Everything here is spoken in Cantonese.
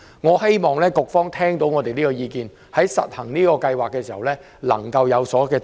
我希望局方聽到我們這項意見，在推行計劃時能夠有所行動。